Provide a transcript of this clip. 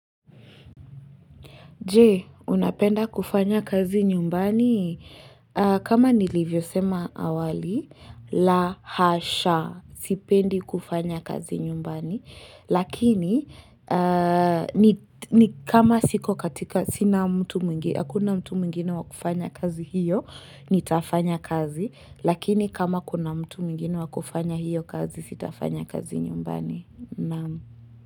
Jee, unapenda kufanya kazi nyumbani? Kama nilivyo sema awali, la hasha, sipendi kufanya kazi nyumbani. Lakini, ni kama siko katika, sina mtu mingi, hakuna mtu mwingine wa kufanya kazi hiyo, nitafanya kazi. Lakini, kama kuna mtu mingi wa kufanya hiyo kazi, sitafanya kazi nyumbani.